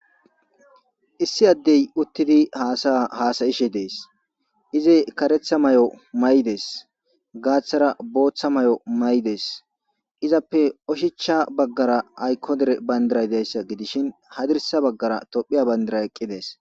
Issi addey uttidi hasa'a hasa'ishe dees; izi kareththa mayo mayides; gaaththara booththa mayo mayides; izappe oshichcha baggara ayko derey dizayssa gidishin hadirssa baggara Tophphiya bandiray eqqidi dees.